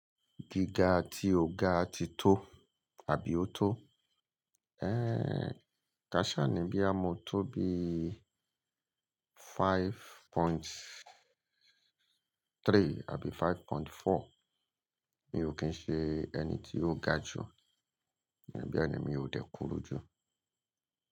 Giga ti o ga ti to abi o to? Ka sha ni boya mo to bii five point three abi five point four, mi o kin se eni ti o ga ju, beeni mi o de kuru ju.